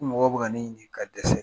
Ko mɔgɔ bɛ ka ɲini ka dɛsɛ.